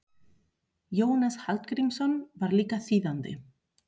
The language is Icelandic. Jónas Hallgrímsson var líka þýðandi.